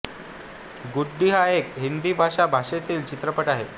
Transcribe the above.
गुड्डी हा एक हिंदी भाषा भाषेतील चित्रपट आहे